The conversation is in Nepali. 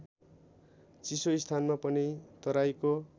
चिसोस्थानमा पनि तराईको